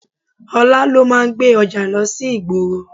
Ọlá ló máa ń gbé ọjà lọ sí ìgboro.